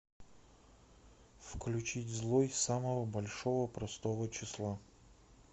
включить злой самого большого простого числа